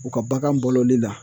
U ka bagan baloli la